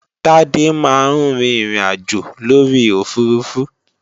Tade máa ń rin ìrìnàjò lórí òfurufú